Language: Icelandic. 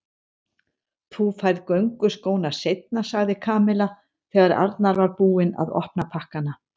Þú færð gönguskóna seinna sagði Kamilla þegar Arnar var búinn að opna pakkana.